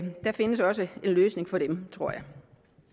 der findes også en løsning for dem tror jeg